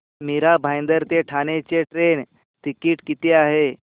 मीरा भाईंदर ते ठाणे चे train ticket किती आहे